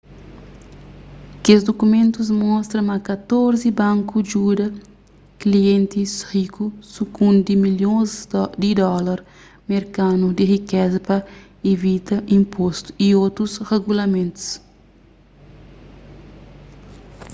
kes dukumentus mostra ma katorzi banku djuda klientis riku sukundi milhons di dólar merkanu di rikeza pa ivita inpostu y otus regulamentus